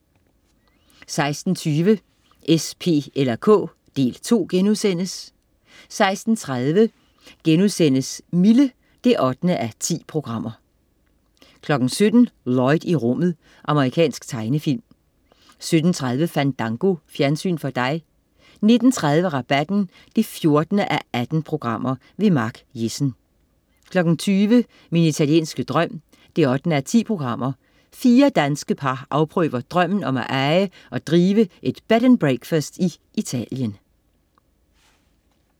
16.20 S, P eller K. Del 2* 16.30 Mille 8:10* 17.00 Lloyd i rummet. Amerikansk tegnefilm 17.30 Fandango. Fjernsyn for dig 19.30 Rabatten 14:18. Mark Jessen 20.00 Min italienske drøm 8:10. Fire danske par afprøver drømmen om at eje og drive et Bed & Breakfast i Italien